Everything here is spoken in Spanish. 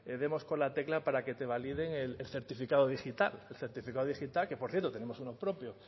demos con la tecla para que te validen el certificado digital el certificado digital que por cierto tenemos uno propio